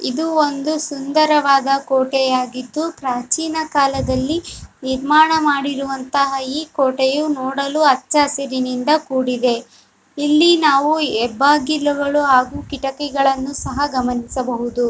ಇದು ಒಂದು ಸುಂದರವಾದ ಕೋಟೆಯಾಗಿದ್ದು ಪ್ರಾಚೀನಕಾಲದಲ್ಲಿ ನಿರ್ಮಾಣ ಮಾಡಿರುವಂತಹ ಈ ಕೋಟೆಯು ನೋಡಲು ಹಚ್ಚ ಹಸಿರಿನಿಂದ ಕೂಡಿದೆ ಇಲ್ಲಿ ನಾವು ಹೆಬ್ಬಾಗಿಲುಗಳು ಹಾಗು ಕಿಟಕಿಗಳನ್ನು ಸಹ ಗಮನಿಸಬಹುದು .